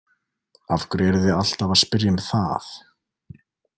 Af hverju eruð þið alltaf að spyrja um það?